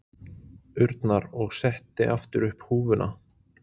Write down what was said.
urnar og setti aftur upp húfuna.